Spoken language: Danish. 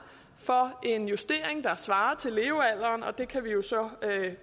for en justering der svarer til levealderen og det kan man jo så